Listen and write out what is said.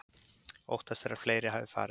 Óttast er að fleiri hafi farist